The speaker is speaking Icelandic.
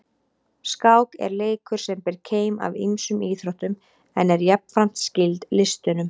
Skák er leikur sem ber keim af ýmsum íþróttum en er jafnframt skyld listunum.